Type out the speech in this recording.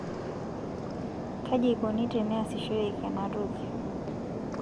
kaji eikoni teneasishoreki ena toki?